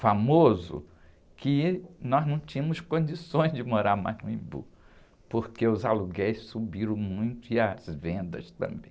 famoso, que nós não tínhamos condições de morar mais no Embu, porque os aluguéis subiram muito e as vendas também.